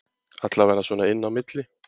Allavega svona inni á milli